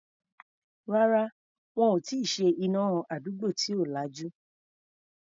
Rárá, wọn ò tí ì ṣe iná àdúgbò tí ò lajú.